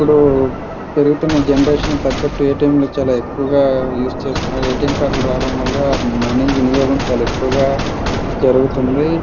ఇప్పుడు పెరుగుతున్న జెనరేషన్ తగ్గట్టు ఎ. టి. ఎం. లు చాల ఎక్కువగా యూజ్ చేస్తున్నారు ఎ. టి. ఎం. కార్డు లు రావడం వల్ల మనీ వినియోగం చాల ఎక్కువగా జరుగుతుంది.